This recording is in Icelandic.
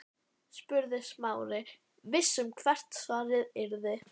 spurði Smári, viss um hvert svarið yrði.